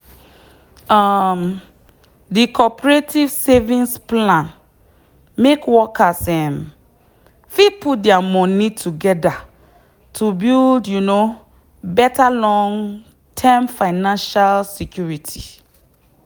um the cooperative savings plan make workers um fit put their money together to build um better long-term financial security.